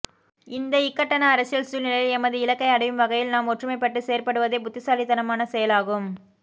இந்த இக்கட்டான அரசியல் சூழ்நிலையில் எமது இலக்கை அடையும் வகையில் நாம் ஒற்றுமைபட்டு செயற்படுவதே புத்திசாலித்தனமான செயலாகும்